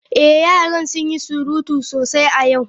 Ee, yaran sun yi surutu sosai a yau.